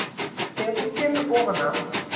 Þegar þú kemur ofan af